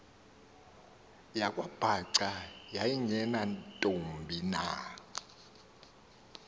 yakwabhaca yayingenantombi na